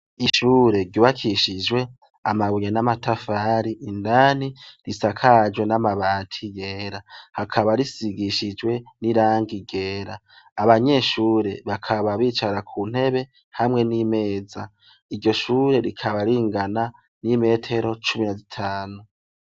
Ishure ryubakishijwe amabuye n'amatafari, indani risakajwe n'amabati yera, rikaba risigishijwe n'irangi ryera. Abanyeshure bakaba bicara ku ntebe hamwe n'imeza. Iryo shure rikaba ringana n'imetero cumi na zitanu.